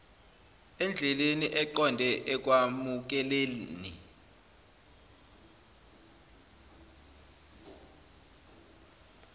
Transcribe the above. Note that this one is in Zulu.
endleleni eqonde ekwamukeleni